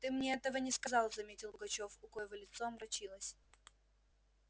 ты мне этого не сказал заметил пугачёв у коего лицо омрачилось